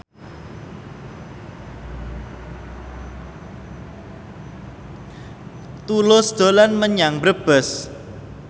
Tulus dolan menyang Brebes